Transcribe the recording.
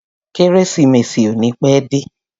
Kérésìmesì ò ní pẹ́ dé.